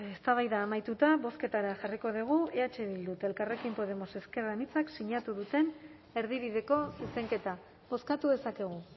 eztabaida amaituta bozketara jarriko dugu eh bildu eta elkarrekin podemos ezker anitza sinatu duten erdibideko zuzenketa bozkatu dezakegu